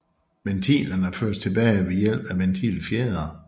Ventilerne føres tilbage ved hjælp af ventilfjedre